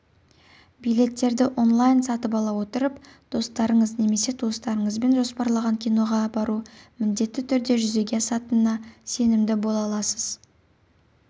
билеттерді онлайн сатып ала отырып достарыңыз немесе туыстарыңызбен жоспарлаған киноға бару міндетті түрде жүзеге асатынына сенімді бола аласыз